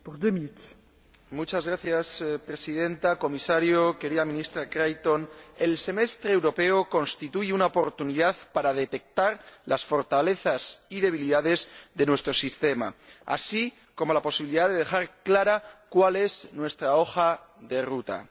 Señora Presidenta, señor Comisario, señora Ministra Creighton, el Semestre Europeo constituye una oportunidad para detectar las fortalezas y debilidades de nuestro sistema, así como la posibilidad de dejar clara cuál es nuestra hoja de ruta.